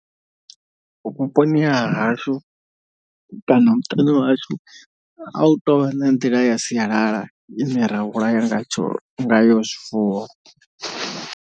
Vhuponi ha hashu kana muṱani wa hashu a hu tovha na nḓila ya sialala ine ra vhulaya ngatsho ngayo zwifuwo.